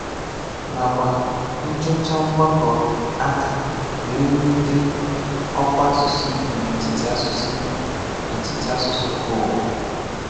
Nàkwà nchọchà mgbakọ ákà wèè wùlítẹ ọkwà àsụsụ Igbo n’etiti àsụsụ Igbo n’etiti àsụsụ mbà ụwà.